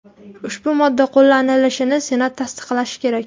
Ushbu modda qo‘llanilishini senat tasdiqlashi kerak.